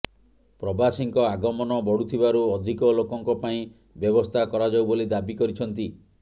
ପ୍ରବାସୀଙ୍କ ଆଗମନ ବଢୁଥିବାରୁ ଅଧିକ ଲୋକଙ୍କ ପାଇଁ ବ୍ୟବସ୍ଥା କରାଯାଉ ବୋଲି ଦାବି କରିଛନ୍ତି